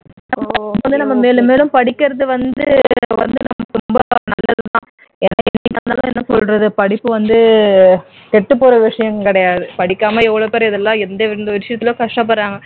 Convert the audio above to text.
நம்ம வந்து மேல மேலும் படிக்கிறது வந்து ரொம்ப நல்லது தான் என்ன கேட்டீன்னா என்ன சொல்றது படிப்பு வந்து கெட்டுப் போற விஷயம் கிடையாது படிக்காமல் எவ்வளவு பேர் இதெல்லாம் எந்தெந்த விஷயத்தில கஷ்டப்படுறாங்க